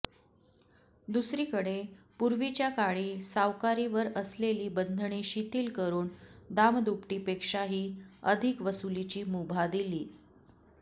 दुसरीकडे पूर्वीच्या काळी सावकारीवर असलेली बंधने शिथिल करून दामदुपटीपेक्षाही अधिक वसुलीची मुभा दिली